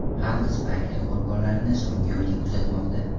Xalq Spayker qurbonlarini so‘nggi yo‘lga kuzatmoqda.